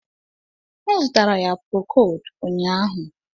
M zụtara ya prokod ụnyahụ